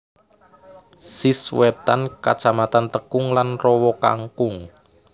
Sish wétan Kacamatan Tekung lan Rowokangkung